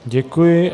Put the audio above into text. Děkuji.